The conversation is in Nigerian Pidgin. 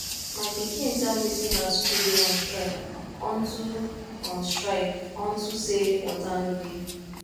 my pikin tell me say her school dey on strike unto on strike unto say water no dey